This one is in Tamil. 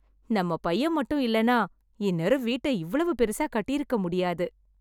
நம்ம பையன் மட்டும் இல்லனா இன்னேரம் வீட்டை இவ்வளவு பெரிசா கட்டியிருக்க முடியாது